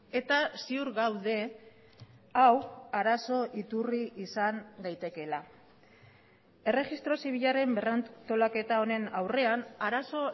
eta ziur gaude hau arazo iturri izan daitekeela erregistro zibilaren berrantolaketa honen aurrean arazo